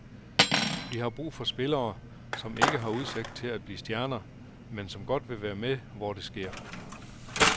Vi har brug for spillere, som ikke har udsigt til at blive stjerner, men som godt vil være med, hvor det sker.